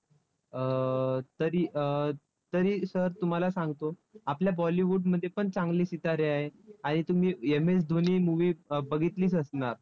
अं तरी अं तरी sir तुम्हाला सांगतो, आपल्या bollywood मध्ये पण चांगले सितारे आहेत. आणि तुम्ही MSDhoni movie बघितलीच असणार.